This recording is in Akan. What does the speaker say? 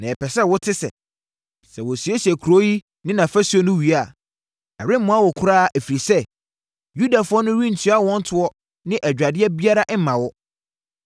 Na yɛpɛ sɛ wote sɛ, sɛ wɔsiesie kuro yi ne nʼafasuo no wie a, ɛremmoa wo koraa, ɛfiri sɛ, Yudafoɔ no rentua wɔn toɔ ne adwadeɛ biara mma wo.